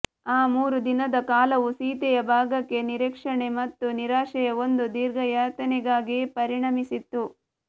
ಆ ಮೂರು ದಿನದ ಕಾಲವೂ ಸೀತೆಯ ಭಾಗಕ್ಕೆ ನಿರೀಕ್ಷಣೆ ಮತ್ತು ನಿರಾಶೆಯ ಒಂದು ದೀರ್ಘಯಾತನೆಗಾಗಿ ಪರಿಣಮಿಸಿತ್ತು